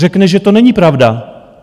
Řekne, že to není pravda.